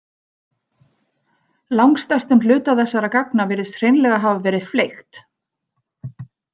Langstærstum hluta þessara gagna virðist hreinlega hafa verið fleygt.